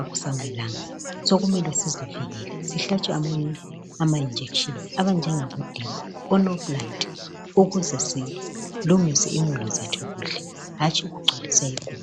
akusamelanga. Sokumele sizivikele. Sihlatshwe amainjekisheni anjengaboDepo, oNoplant ukuze silungise imuli zethu kuhle hatshi ukugcwalisa iguma.